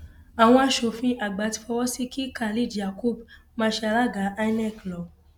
àwọn aṣòfin àgbà ti fọwọ sí i kí khalid yakub máa ṣe alága inec lọ